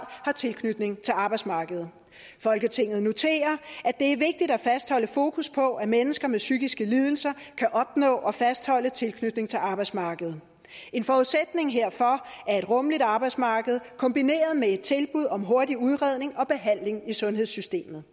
har tilknytning til arbejdsmarkedet folketinget noterer det er vigtigt at fastholde fokus på at mennesker med psykiske lidelser kan opnå og og fastholde tilknytning til arbejdsmarkedet en forudsætning herfor er et rummeligt arbejdsmarked kombineret med tilbud om hurtig udredning og behandling i sundhedssystemet